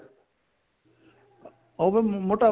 ਉਹ ਫੇਰ